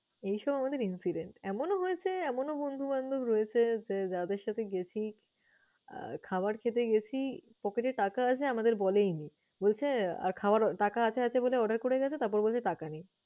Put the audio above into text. এই সব আমাদের incidence । এমনও হয়েছে, এমনও বন্ধুবান্ধব রয়েছে যে যাদের সাথে গেছি আহ খাবার খেতে গেছি, পকেটে টাকা আছে আমাদের বলেই নি। বলছে আর খাওয়ার টাকা আছে আছে বলে order করে গেছে তারপর বলছে টাকা নেই।